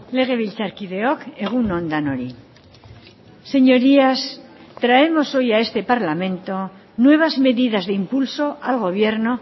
legebiltzarkideok egun on denoi señorías traemos hoy a este parlamento nuevas medidas de impulso al gobierno